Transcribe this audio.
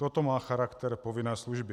Toto má charakter povinné služby.